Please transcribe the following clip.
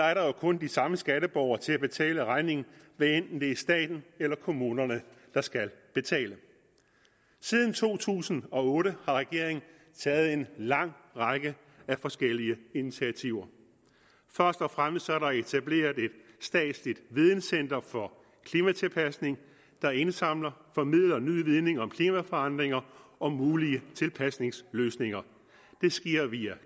er der jo kun de samme skatteborgere til at betale regningen hvad enten det er staten eller kommunerne der skal betale siden to tusind og otte har regeringen taget en lang række forskellige initiativer først og fremmest er der etableret et statsligt videncenter for klimatilpasning der indsamler og formidler ny viden om klimaforandringer og mulige tilpasningsløsninger det sker via